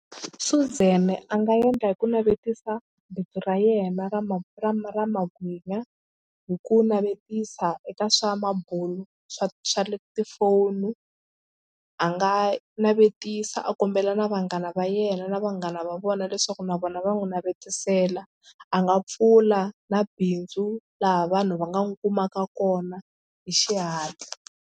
Suzan a nga endla hi ku navetisa bindzu ra yena ra ra ra magwinya hi ku navetisa eka swa mabulo swa swa le tifoni a nga a navetisa a kombela na vanghana va yena na vanghana va vona leswaku na vona va n'wi navetisela a nga pfula na bindzu laha vanhu va nga n'wi kumaka kona hi xihatla.